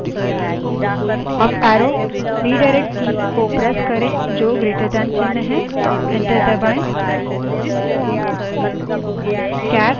enter press करें